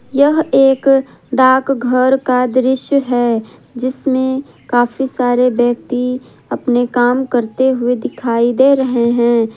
यह एक डाकघर का दृश्य है जिसमें काफी सारे व्यक्ति अपने काम करते हुए दिखाई दे रहे हैं।